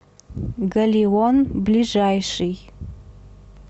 галион ближайший